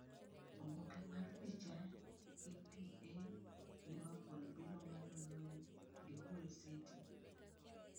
Oboke mar picha, EPA Liverpool biro ng’ado lweny gi Hull City.